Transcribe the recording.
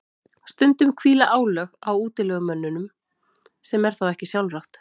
stundum hvíla álög á útilegumönnunum sem er þá ekki sjálfrátt